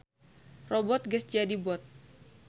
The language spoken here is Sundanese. Robbot geus jadi bot.